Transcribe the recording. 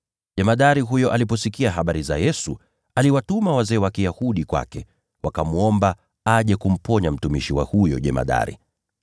Jemadari huyo aliposikia habari za Yesu, aliwatuma wazee wa Kiyahudi kwake, wakamwomba aje kumponya mtumishi wa huyo jemadari.